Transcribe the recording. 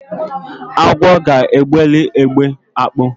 Agwo ga-egberi egbe akpụ.